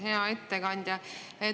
Hea ettekandja!